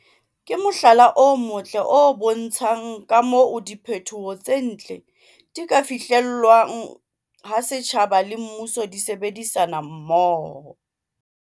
ke mohlala o motle o bontshang ka moo diphetho tse ntle di ka fihlelwang ha setjhaba le mmuso di sebedisana mmoho.